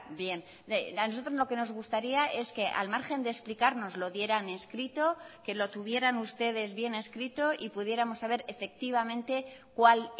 bien a nosotros lo que nos gustaría es que al margen de explicar nos lo dieran escrito que lo tuvieran ustedes bien escrito y pudiéramos saber efectivamente cuál